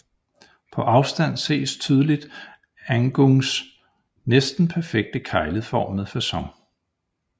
På afstand ses tydligt Agungs næsten perfekte kegleformede facon